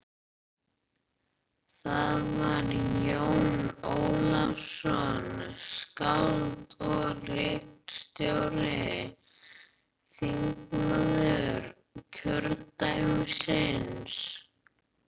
Það var Jón Ólafsson, skáld og ritstjóri, þingmaður kjördæmisins.